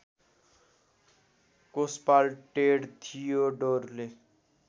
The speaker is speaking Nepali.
कोषपाल टेड थियोडोरले